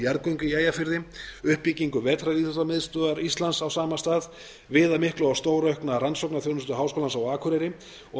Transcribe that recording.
jarðgöng í eyjafirði uppbyggingu vetraríþróttamiðstöðvar íslands á sama stað viðamikla og stóraukna rannsóknarþjónustu háskólans á akureyri og